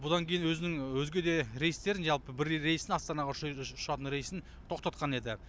бұдан кейін өзінің өзге де рейстерін жалпы бір рейсін астанаға ұшатын рейсін тоқтатқан еді